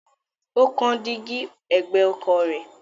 Ó kán dígí ẹ̀gbẹ́ ọkọ̀ rẹ̀.